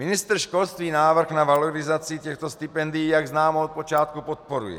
Ministr školství návrh na valorizaci těchto stipendií, jak známo, od počátku podporuje.